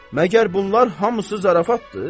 Məgər bunlar hamısı zarafatdır?